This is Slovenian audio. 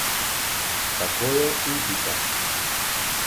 Tako je in pika.